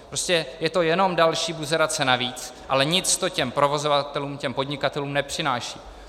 Prostě je to jenom další buzerace navíc, ale nic to těm provozovatelům, těm podnikatelům nepřináší.